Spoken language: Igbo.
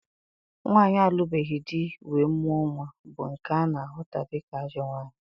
Nwaanyị alụbeghị di wee mụọ nnwa bụ nke ana ahụta dịka ajọ nwaanyị